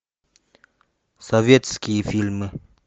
советские фильмы